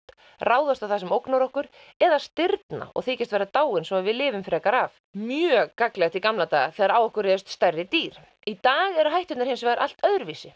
ráðast á það sem ógnar okkur eða stirðna og þykjast vera dáin svo við lifum frekar af mjög gagnlegt í gamla daga þegar á okkur réðust stærri dýr í dag eru hætturnar hins vegar allt öðruvísi